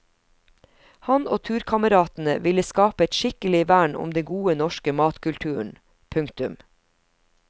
Han og turkameratene ville skape et skikkelig vern om den gode norske matkulturen. punktum